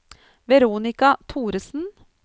Veronica Thoresen